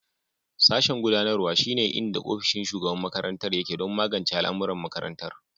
Sashen gudanarwa, shine inda ofishin shugaban makarantar yake don magance al'amuran makarantar.